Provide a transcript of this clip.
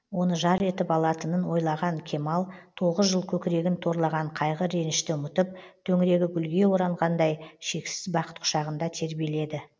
оны жар етіп алатынын ойлаған кемал тоғыз жыл көкірегін торлаған қайғы ренішті ұмытып төңірегі гүлге оранғандай шексіз бақыт құшағында тербеледі